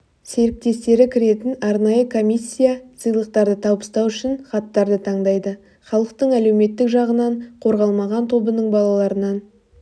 серіктестері кіретін арнайы комиссия сыйлықтарды табыстау үшін хаттарды таңдайды халықтың әлеуметтік жағынан қорғалмаған тобының балаларынан